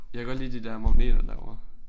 Jeg kan godt lide de der magneter derovre